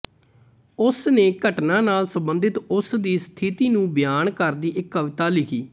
ਉਸ ਨੇ ਘਟਨਾ ਨਾਲ ਸੰਬੰਧਿਤ ਉਸ ਦੀ ਸਥਿਤੀ ਨੂੰ ਬਿਆਨ ਕਰਦੀ ਇੱਕ ਕਵਿਤਾ ਲਿਖੀ